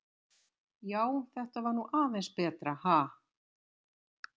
Já, þetta var nú aðeins betra, ha!